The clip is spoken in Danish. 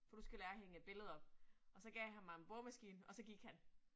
For du skal lære at hænge et billede op. Og så gav han mig en boremaskine, og så gik han